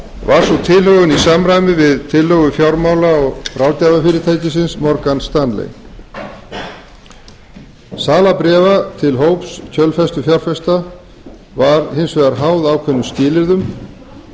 var sú tilhögun í samræmi við tillögu fjármála og ráðgjafarfyrirtækisins morgans stanley sala bréfa til hóps kjölfestufjárfesta var hins vegar háð ákveðnum skilyrðum